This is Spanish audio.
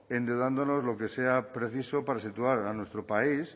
endeudándonos lo que sea preciso para situar a nuestro país